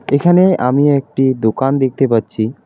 এখানে আমি একটি দোকান দেখতে পাচ্ছি।